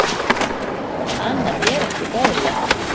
Annað er ekki boðlegt.